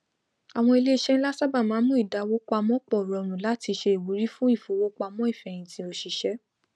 àwọn iléiṣẹ nla sábà máa ń mú ìdáwó pamọ pọ rọrùn látí se ìwúrí fún ìfowópamọn ìfẹyìntì òsìṣẹ